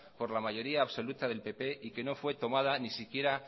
por la mayoría absoluta del pp y que no fue tomada ni siquiera